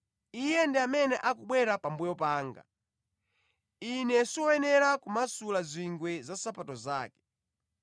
Iye ndi amene akubwera pambuyo panga, ine siwoyenera kumasula zingwe za nsapato zake.”